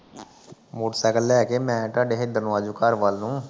motorcycle ਲੈ ਕੇ ਮੈਂ ਤੁਹਾਡੇ ਇਧਰ ਨੂੰ ਆ ਜਊ ਘਰ ਵੱਲ ਨੂੰ